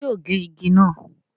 ṣé yóò gé igi náà?